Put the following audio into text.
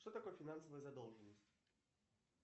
что такое финансовая задолженность